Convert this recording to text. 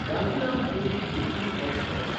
Gandhidham Puri weekly express